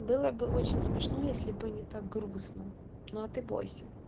было бы очень смешно если бы не так грустно но а ты бойся